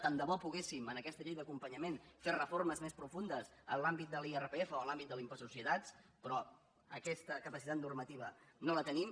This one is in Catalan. tant de bo poguéssim en aquesta llei d’acompanyament fer reformes més profundes en l’àmbit de l’irpf o en l’àmbit de l’impost de societats però aquesta capacitat normativa no la tenim